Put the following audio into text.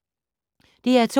DR2